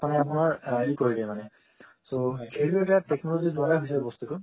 মানে আপোনাৰ কৰি দেয় মানে so সেটো এটা technology ৰ দ্বাৰা হৈছে বস্তুটো